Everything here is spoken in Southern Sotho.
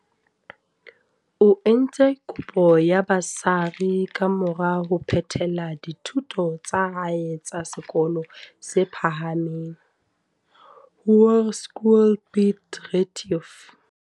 O entse kopo ya ba sari kamora ho phethela dithuto tsa hae tsa se kolong se phahameng, Hoërskool Piet Retief.